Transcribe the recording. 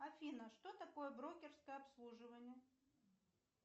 афина что такое брокерское обслуживание